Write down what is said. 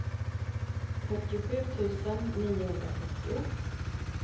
fyrtiosju tusen niohundrasjuttio